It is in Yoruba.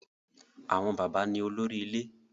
Àwọn bàbá ni olórí ilé.